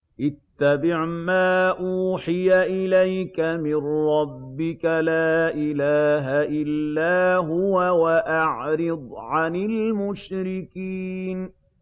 اتَّبِعْ مَا أُوحِيَ إِلَيْكَ مِن رَّبِّكَ ۖ لَا إِلَٰهَ إِلَّا هُوَ ۖ وَأَعْرِضْ عَنِ الْمُشْرِكِينَ